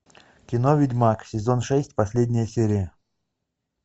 кино ведьмак сезон шесть последняя серия